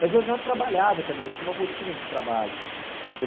Mas eu já trabalhava também, eu tinha uma rotina de trabalho. Eu